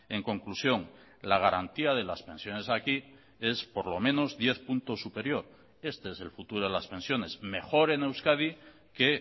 en conclusión la garantía de las pensiones aquí es por lo menos diez puntos superior este es el futuro de las pensiones mejor en euskadi que